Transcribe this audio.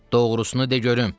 Doğrusunu de görüm.